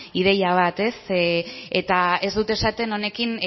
ideia bat eta ez dut esaten honekin